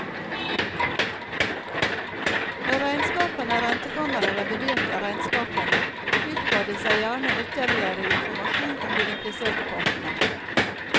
Når regnskapene rentekammeret reviderte regnskpene, utba de seg gjerne ytterligere informasjon om de impliserte partene.